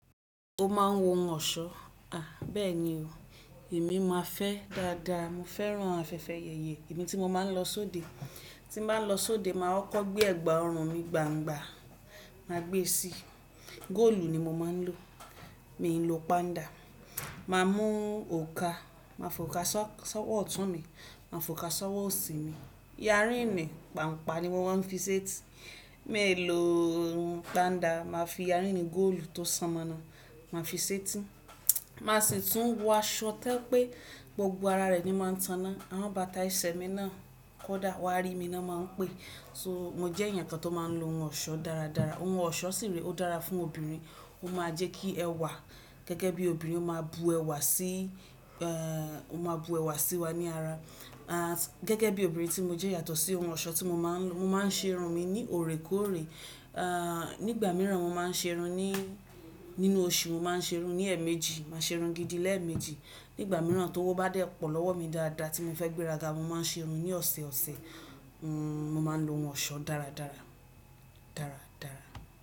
Ó máa ń wọ ohun ọ̀ṣọ́. À bẹ́ẹ̀ni o, èmi máa fẹ́ dáadáa. Mo fẹ́ran afẹ́fẹ́ yẹyẹ. Ẹ̀mi tí mo máa ń lọ sóde, tí n bá lọ sóde, màá kọ gbé ẹ̀gbà ọrùn mi gbangba, màá gbe sí i. Góòlù ni mo máa ń lò. Mi n lò panda. Ma mú òokà, màá fọ òokà sọ́wọ́ ọ̀tún mi, màá fọ òokà sọ́wọ́ òsì mi. Yárìn ni, pàǹpá ni mo máa ń fi ṣetí. Máì lò Panda, màá fi yárìn gòòlù tó sọmọna, màá fi ṣetí. Màá sì tún wọ aṣọ to je pé gbogbo ara rẹ̀ ni máa ń taná. Àwọn bàtà ẹsẹ̀ mi náà kó dà wá rí mi náà máa ń pé. So, mo jẹ́ èèyàn kan tó máa ń lo ohun ọ̀ṣọ́ dáradára. Ohun ọ̀ṣọ́ sì rí, ó dára fún obìnrin. Ó máa jẹ́ kí ẹwà gẹ́gẹ́ bí obìnrin ó máa bu ẹwà sí í, ẹ́, ó máa bu ẹwà sí wa ní ara. À, gẹ́gẹ́ bí obìnrin tí mo jẹ́ yàtọ̀ sí ohun ọ̀ṣọ́ tí mo máa ń lo. Mo máa ń ṣe irun mi ní ò rè kó rè. À, nígbà mìíràn, mo máa ń ṣe irun ní nínú oṣù, mo máa ń ṣe irun ní ẹ̀ẹ̀méjì. Màá ṣe irun gidi lẹ́ẹ̀ẹ̀mejì. Nígbà mìíràn tówo bá dé pọ̀ lọ́wọ́ mi dáadáa tí mo fẹ́ gbéraga, mo máa ń ṣe irun ní ọ̀sẹ̀ọ̀sẹ̀. N, mo máa ń lo ohun ọ̀ṣọ́ dáradára, dáradára.